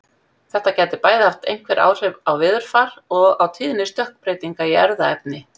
Þetta gæti bæði haft einhver áhrif á veðurfar og á tíðni stökkbreytinga í erfðaefni.